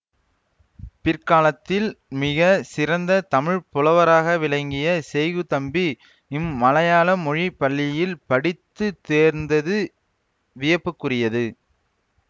பிற்காலத்தில் மிக சிறந்த தமிழ் புலவராக விளங்கிய செய்குதம்பி இம்மலையாள மொழி பள்ளியில் படித்துத் தேர்ந்தது வியப்புக்குரியது